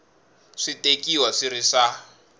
swi tekiwa swi ri swa